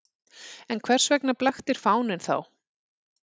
En hvers vegna blaktir fáninn þá?